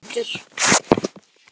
Löngu áður.